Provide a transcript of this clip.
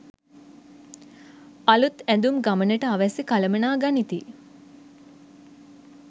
අලූත් ඇඳුම් ගමනට අවැසි කළමනා ගනිති